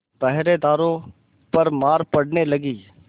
पहरेदारों पर मार पड़ने लगी